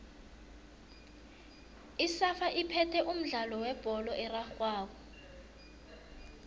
isafa iphethe umdlalo webholo erarhwako